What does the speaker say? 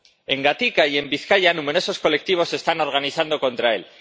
En Gatika y en Bizkaia numerosos colectivos se están organizando contra él.